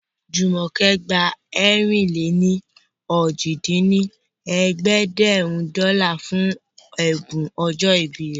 Jùmọ̀kẹ́ gba ẹ̀rin-lé-ní-ojì dín ní ẹ̀ẹ́dẹ́gbẹ́rún dọ́là fún ẹ̀bùn ọjọ́ ìbí